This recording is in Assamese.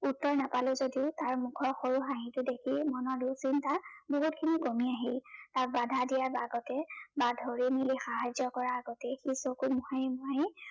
উত্তৰ নাপালো যদিও তাৰ মুখৰ সৰু হাঁহিটো দেখি মনৰ দুচিন্তা বহুতখিনি কমি আহিল। তাক বাধা দিয়াৰ আগতে বা ধৰি মেলি সাহায্য কৰাৰ আগতে সি চকু মোহাৰি মোহাৰি